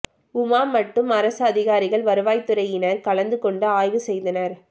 உமா மட்டும் அரசு அதிகாரிகள் வருவாய்த்துறையினர் கலந்து கொண்டு ஆய்வு செய்தனர்